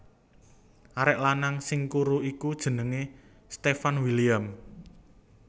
Arek lanang sing kuru iku jenenge Stefan William